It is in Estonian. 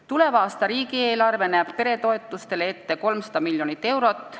Tuleva aasta riigieelarve näeb peretoetusteks ette 300 miljonit eurot.